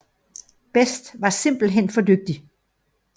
Best var simpelthen blevet for dygtig